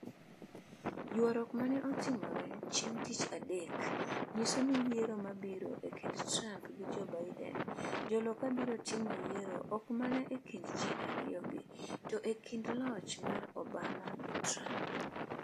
ywaruok mane otimore chieng' tich adek nyiso ni yiero mabiro e kind Trump gi Joe Biden ,jo loka biro timo yiero ok mana e kind ji ariyo gi, to e kind loch mar Obama gi Trump.